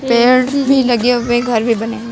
पेड़न भी लगे हुए हैं घर भी बने हुए हैं।